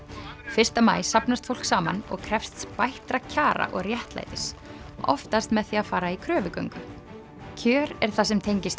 fyrsta maí safnast fólk saman og krefst bættra kjara og réttlætis oftast með því að fara í kröfugöngu kjör er það sem tengist